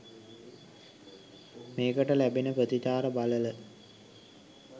මේකට ලැබෙන ප්‍රතිචාර බලල